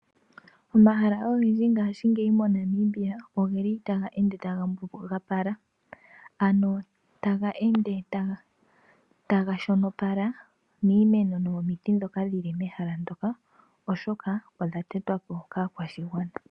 Omahala ogendji ngashingeyi mo Namibia ogeli taga ende taga mbugapala ano taga ende taga shonopala miimeno nomomiti ndhoka dhili mehala ndoka oshoka odha tetwapo kaakwashigwana.